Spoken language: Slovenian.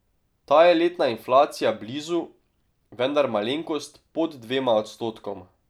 Ta je letna inflacija blizu, vendar malenkost pod dvema odstotkoma.